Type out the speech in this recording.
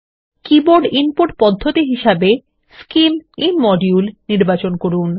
keyboard input পদ্ধতি হিসাবে scim ইমোডিউল নির্বাচন করুন